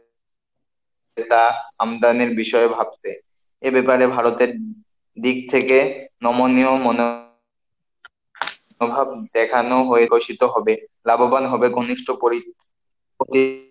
সেটা আমদানির বিষয়ে ভাববে, এ ব্যাপারে ভারতের দিক থেকে নমনীয় মনোভাব দেখানো হয়ে ঘোষিত হবে, লাভবান হবে ঘনিষ্ঠ প্রতি,